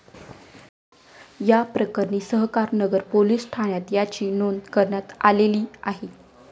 याप्रकरणी सहकारनगर पोलीस ठाण्यात याची नोंद करण्यात आलेली आहे.